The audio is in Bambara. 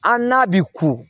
A n'a bi ku